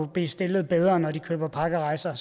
blive stillet bedre når de køber pakkerejser